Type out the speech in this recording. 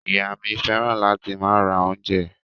Ìyá mi fẹ́ràn láti máa ra oúnjẹ.